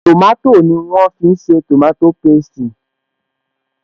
Tòmátò ni wọ́n fi ṣe tòmátò pésti